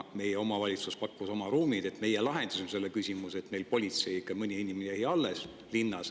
Meie omavalitsus pakkus oma ruumid, me lahendasime selle küsimuse ja meil politsei, ikka mõni inimene, jäi linnas alles.